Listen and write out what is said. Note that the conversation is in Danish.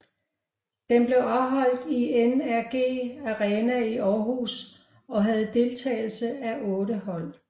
Den blev afholdt i NRGi Arena i Århus og havde deltagelse af otte hold